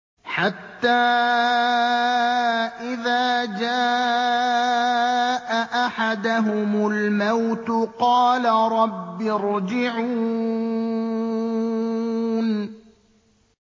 حَتَّىٰ إِذَا جَاءَ أَحَدَهُمُ الْمَوْتُ قَالَ رَبِّ ارْجِعُونِ